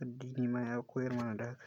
Addini ma ya koyar mana da haka.